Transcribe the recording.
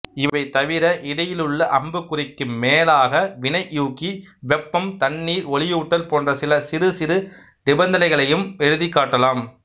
இவைதவிர இடையிலுள்ள அம்புக்குறிக்கு மேலாக வினையூக்கி வெப்பம் தண்ணீர் ஒளியூட்டல் போன்ற சில சிறுசிறு நிபந்தனைகளையும் எழுதிக் காட்டலாம்